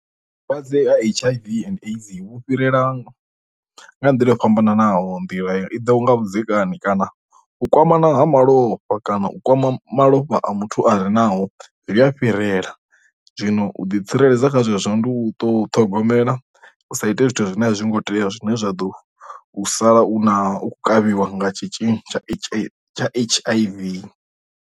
Lwadze ha H_I_V and AIDS vhu fhirela nga nḓila yo fhambananaho nḓila i ḓo nga vhudzekani kana u kwamana ha malofha kana u kwama malofha a muthu a re naho ḽi a fhirela, zwino u ḓi tsireledza kha zwezwo ndi u to ṱhogomela u sa ite zwithu zwine a zwi ngo tea zwine zwa ḓo sala u na u kavhiwa nga tshitzhili tsha H_I_V.